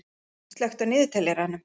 Marín, slökktu á niðurteljaranum.